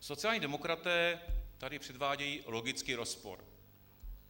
Sociální demokraté tady předvádějí logický rozpor.